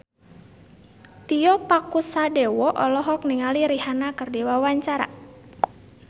Tio Pakusadewo olohok ningali Rihanna keur diwawancara